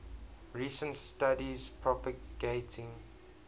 recent studies propagating